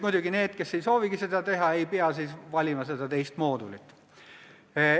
Muidugi need, kes seda ei soovigi, ei pea seda teist moodulit valima.